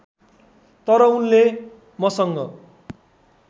तर उनले मसँग